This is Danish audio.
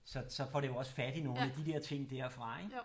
Så så får det jo også fat i nogle af de dér ting der fra ik